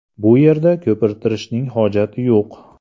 Bu yerda ko‘pirtirishning hojati yo‘q.